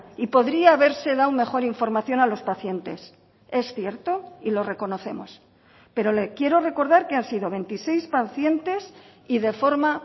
y podría haberse dado mejor información a los pacientes es cierto y lo reconocemos pero le quiero recordar que han sido veintiséis pacientes y de forma